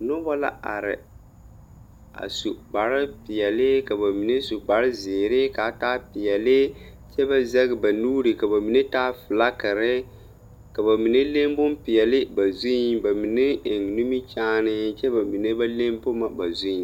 Nobɔ la are a su kparepeɛle ka ba mine su kparezeere kaa taa peɛle kyɛ ba zɛge ba nuure ka ba mine taa flakire ba mine leŋ bonpeɛle ba zuiŋ ba mine eŋ nimikyaane kyɛ ba mine ba leŋ boma ba zuiŋ.